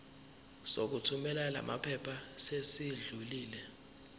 sokuthumela lamaphepha sesidlulile